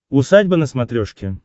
усадьба на смотрешке